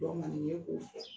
K'o fɔ.